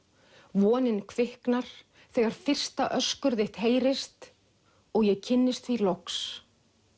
vonin kviknar þegar fyrsta öskur þitt heyrist og ég kynnist því loks